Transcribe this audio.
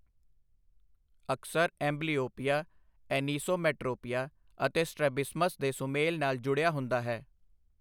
ਅਕਸਰ, amblyopia anisometropia ਅਤੇ strabismus ਦੇ ਸੁਮੇਲ ਨਾਲ ਜੁੜਿਆ ਹੁੰਦਾ ਹੈ।